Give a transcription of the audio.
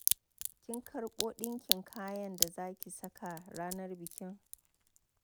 Kin karɓo dinkin kayan da za ki saka ranar biki?